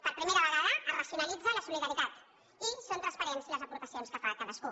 per primera vegada es racionalitza la solidaritat i són transparents les aportacions que fa cadascú